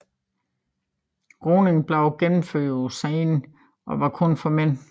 Roningen blev gennemført på Seinen og var kun for mænd